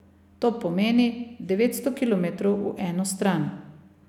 To pomeni, devetsto kilometrov v eno stran.